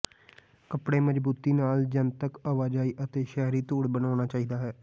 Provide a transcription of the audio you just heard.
ਕਪੜੇ ਮਜ਼ਬੂਤੀ ਨਾਲ ਜਨਤਕ ਆਵਾਜਾਈ ਅਤੇ ਸ਼ਹਿਰੀ ਧੂੜ ਬਣਾਉਣਾ ਚਾਹੀਦਾ ਹੈ